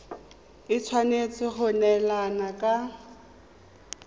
e tshwanetse go neelana ka